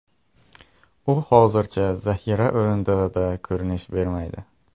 U hozircha zaxira o‘rindig‘ida ko‘rinish bermaydi.